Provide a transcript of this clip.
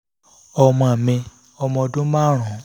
ọmọ mi ọmọ ọdún márùn-ún